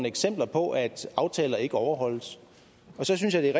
eksempler på at aftaler ikke overholdes og så synes jeg